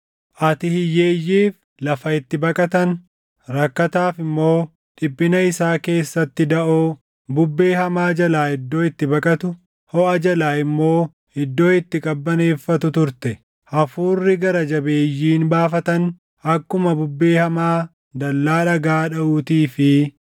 Ati hiyyeeyyiif lafa itti baqatan, rakkataaf immoo dhiphina isaa keessatti daʼoo, bubbee hamaa jalaa iddoo itti baqatu, hoʼa jalaa immoo iddoo itti qabbaneeffatu turte. Hafuurri gara jabeeyyiin baafatan, akkuma bubbee hamaa dallaa dhagaa dhaʼuutii fi